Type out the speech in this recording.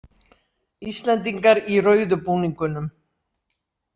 Íslendingar í rauðu búningunum